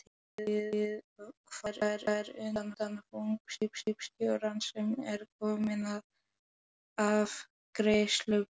Gólfið kvartar undan þunga skipstjórans sem er kominn að afgreiðsluborð